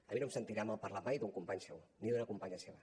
a mi no em sentirà malparlar mai d’un company seu ni d’una companya seva